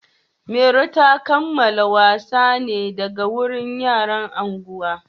Mairo ta kalaman wasan ne daga wurin yaran unguwa.